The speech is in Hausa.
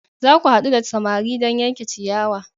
Za ku haɗu da samari don yanke ciyawa!